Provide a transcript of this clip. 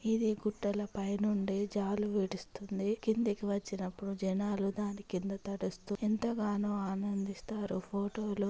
ఇది గుట్టలపైన ఉండే జాలువిడుస్తుంది కిందకి వచినప్పుడు జనాలు దాని కింద తడుస్తూ ఎంతగానో ఆనందిస్తారు ఫోటో లో.